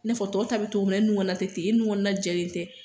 Ne fɔ tɔw be tɔgɔ min na e nun kɔnɔna te ten e nun kɔnɔna na jɛlen tɛ